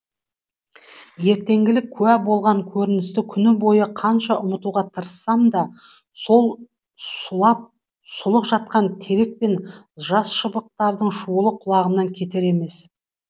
ертеңгілік куә болған көріністі күні бойы қанша ұмытуға тырыссам да сол сұлап сұлық жатқан терек пен жас шыбықтардың шуылы құлағымнан кетер емес